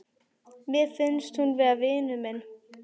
Mér finnst hún vera vinur minn.